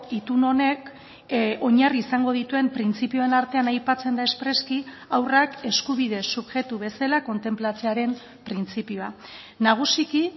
itun honek oinarri izango dituen printzipioen artean aipatzen da espreski haurrak eskubide subjektu bezala kontenplatzearen printzipioa nagusiki